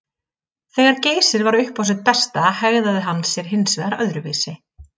Þegar Geysir var upp á sitt besta hegðaði hann sér hins vegar öðruvísi.